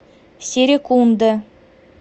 серекунда